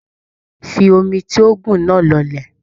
Fi omi ti oògùn náà lọlẹ̀.